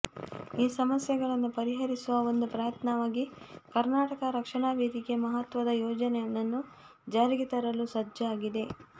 ಈ ಸಮಸ್ಯೆಗಳನ್ನು ಪರಿಹರಿಸುವ ಒಂದು ಪ್ರಯತ್ನವಾಗಿ ಕರ್ನಾಟಕ ರಕ್ಷಣಾ ವೇದಿಕೆ ಮಹತ್ವದ ಯೋಜನೆಯೊಂದನ್ನು ಜಾರಿಗೆ ತರಲು ಸಜ್ಜಾಗಿದೆ